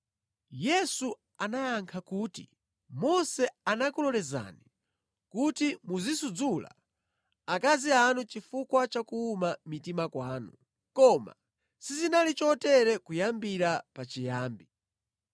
Yesu anayankha kuti, “Mose anakulolezani kuti muzisudzula akazi anu chifukwa cha kuwuma mitima kwanu. Koma sizinali chotere kuyambira pachiyambi.